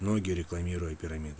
ноги рекламируют